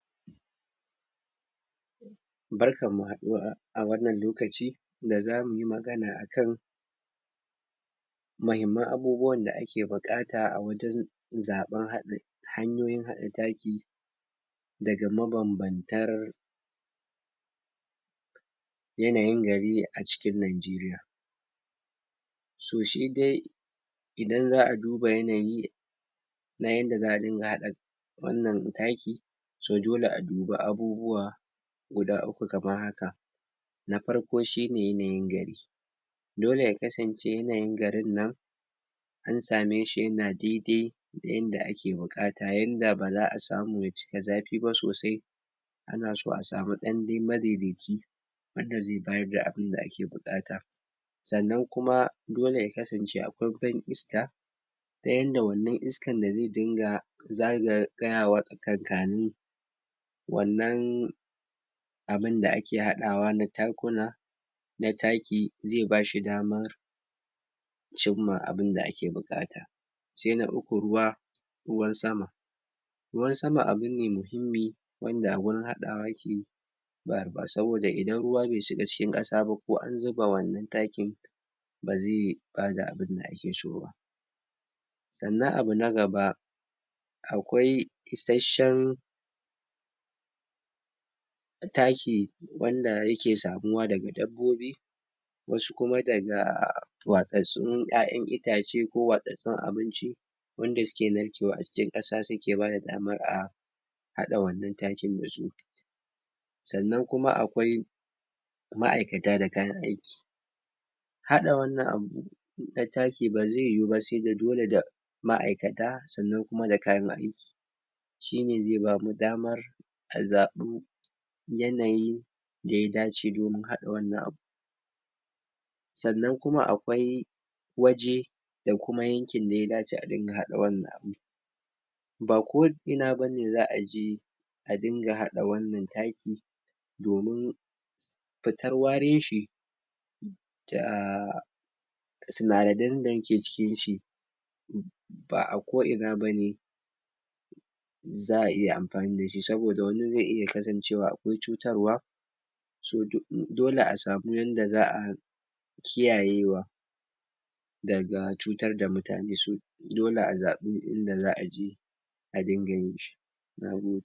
Barkan mu haɗuwa a wannan lokaci da zamu yi magana akan mahimman abubuwan da ake buƙata a wajen zaben haɗin hanyoyin haɗa taki daga mabam-bantar yanayin gari a cikin Najiriya. So shi dai idan za'a duba yanayi na yanda za'a dinga haɗa wannan taki to dole a dubi abubuwa guda uku kamar haka; na farko shi ne yanayin garin. Dole ya kanzance yanayin garin nan an same shi ya na dai-dai da yanda ake buƙat. Yanda ba za'a samu ba ya cika zafi sosai ana so a samu ɗan dai madai-daici wanda zai bayar da abunda ake buƙata. Sannan kuma dole ya kasance akwai ban iska ta yanda wannan iskan da zai dinga zaga tsayawa tsakankani wannan abunda ake haɗawa na takuna na taki zai ba shi dama cimma abunda ake buƙata. Sai na uku ruwa ruwan sama Ruwan sama abu ne muhimmi wanda a gurin haɗawa ya ke ba ba saboda idan ruwa bai shiga cikin ƙasa ba ko an zuba wannan takin ba zai bada abinda ake so ba. Sannan abu na gaba akwai isasshen taki wanda ya ke samuwa daga dabbobi. Wasu kuma daga watsatssun ƴaƴan itace ko watsatssun abinci wanda suke narkewa a cikin ƙasa suke bada damar a haɗa wannan takin da su. Sannan kuma akwai ma'aikata da kayan aiki Haɗa wannan abu na taki ba zai yiwu ba sai da dole da ma'aikata, sannan kuma da kayan ai. Shi ne zai bamu damar a zaɓi yanayin da ya dace domin haɗa wannan abu. Sannan kuma akwai waje da kuma yankin da ya dace a dinga haɗa wannan. Ba ko'ina bane za'a je a dinga haɗa wannan taki domin fitar warin shi da sinadadan da ke cikin shi ba'a ko'ina ba ne za'a iya amfani da shi saboda wani zai iya kasancewa akwai cutarwa. So do dole a samu yanda za'a kiyayewa daga cutar da mutane so dole a zaɓi inda za'a yi a dinga yin shi. Nagode!